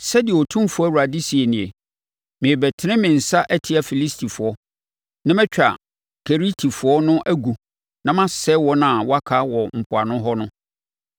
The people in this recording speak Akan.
sɛdeɛ Otumfoɔ Awurade seɛ nie: Merebɛtene me nsa atia Filistifoɔ, na matwa Keretifoɔ no agu na masɛe wɔn a wɔaka wɔ mpoano hɔ no.